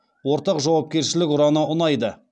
ортақ жауапкершілік ұраны ұнайды